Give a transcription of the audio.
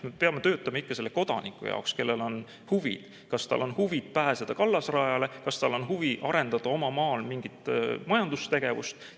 Me peame töötama ikka selle kodaniku heaks, kellel on huvi: kas tal on huvi pääseda kallasrajale, kas tal on huvi arendada oma maal mingit majandustegevust.